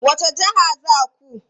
Wace jiha za ku?